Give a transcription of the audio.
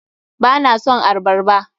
Ba na son arbarba.